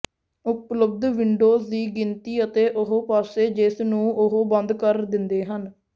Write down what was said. ਉਪਲਬਧ ਵਿੰਡੋਜ਼ ਦੀ ਗਿਣਤੀ ਅਤੇ ਉਹ ਪਾਸੇ ਜਿਸ ਨੂੰ ਉਹ ਬੰਦ ਕਰ ਦਿੰਦੇ ਹਨ